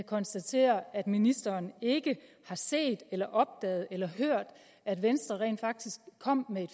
konstatere at ministeren ikke har set eller opdaget eller hørt at venstre rent faktisk kom med et